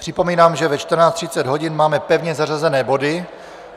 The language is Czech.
Připomínám, že ve 14.30 hodin máme pevně zařazené body.